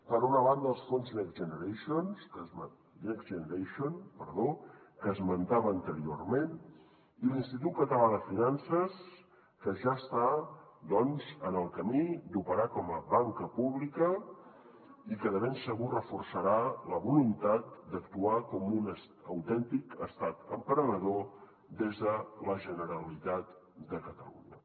per una banda els fons next generation que esmentava anteriorment i l’institut català de finances que ja està doncs en el camí d’operar com a banca pública i que de ben segur reforçarà la voluntat d’actuar com un autèntic estat emprenedor des de la generalitat de catalunya